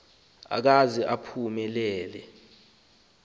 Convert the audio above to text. akaze aphume lele